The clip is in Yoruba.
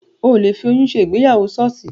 Ò le fi oyún ṣe ìgbéyàwó ṣọ́ọ̀ṣì